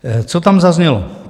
Co tam zaznělo?